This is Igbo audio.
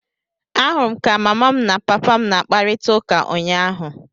Ahụrụ m ka mama m na papa m na-akparịta ụka ụnyaahụ.